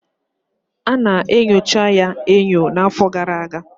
Ana enyocha ya enyo n'afọ gara aga